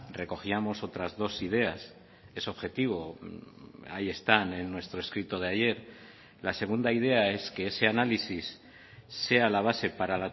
recogíamos otras dos ideas es objetivo ahí están en nuestro escrito de ayer la segunda idea es que ese análisis sea la base para